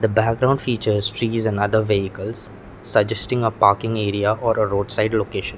background features trees and other vehicles suggesting a parking area or a roadside location.